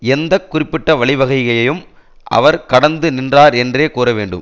எந்த குறிப்பிட்ட வழி வகையையும் அவர் கடந்து நின்றார் என்றே கூற வேண்டும்